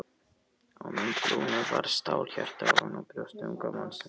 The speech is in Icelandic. Á mynd Lúnu var stálhjarta ofan á brjósti unga mannsins.